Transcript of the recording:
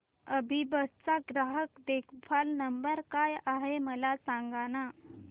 अभिबस चा ग्राहक देखभाल नंबर काय आहे मला सांगाना